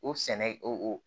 O sɛnɛ o